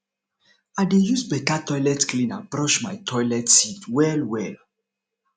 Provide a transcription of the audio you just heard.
i dey use beta toilet cleaner brush my toilet seat wellwell